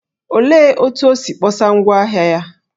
Olee otú o si kpọsa ngwá ahịa ya?